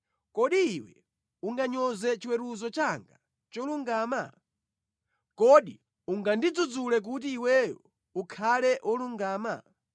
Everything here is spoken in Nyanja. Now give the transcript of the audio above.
“Kodi iwe unganyoze chiweruzo changa cholungama? Kodi ungandidzudzule kuti iweyo ukhale wolungama?